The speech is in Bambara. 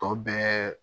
Tɔ bɛɛ